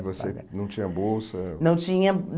E você não tinha bolsa? Não tinha